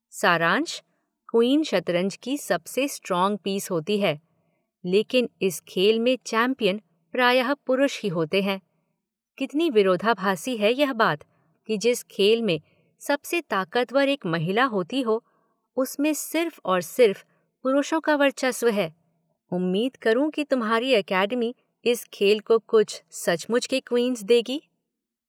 सारांश, 'क्वीन' शतरंज की सबसे स्ट्रोंग पीस होती है लेकिन इस खेल में चैंपियन प्रायः पुरुष ही होते हैं, कितनी विरोधाभासी है यह बात कि जिस खेल में सबसे ताकतवर एक महिला होती हो उसमें सिर्फ और सिर्फ पुरुषों का वर्चस्व है, उम्मीद करू कि तुम्हारी एकेडमी इस खेल को कुछ सचमुच के क्वीन्स देगी।